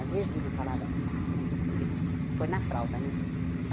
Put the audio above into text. Às vezes, ele falava... Ele ele foi na fralda, né?